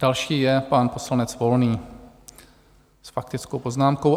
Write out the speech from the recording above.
Další je pan poslanec Volný s faktickou poznámkou.